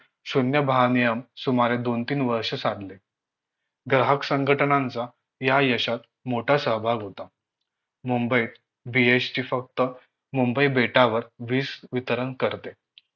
शून्य भारनियम सुमारे दोन तीन वर्षे साधले ग्राहक संघटनांचा या यशात मोठा सहभाग होता मुंबईत BHT फक्त मुंबई बेटावर वीज वितरण करते